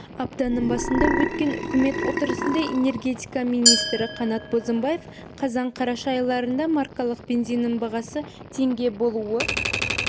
аптаның басында өткен үкімет отырысында энергетика министрі қанат бозымбаев қазан-қараша айларында маркалы бензиннің бағасы теңге болуы